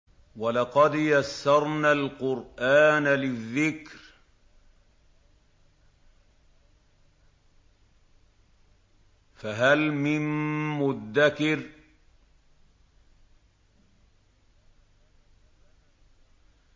وَلَقَدْ يَسَّرْنَا الْقُرْآنَ لِلذِّكْرِ فَهَلْ مِن مُّدَّكِرٍ